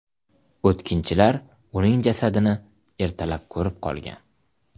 O‘tkinchilar uning jasadini ertalab ko‘rib qolgan .